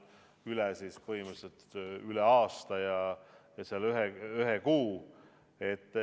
See on siis põhimõtteliselt üle aasta ja ühe kuu.